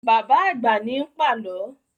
Bàbá àgbà ní ń pàlọ́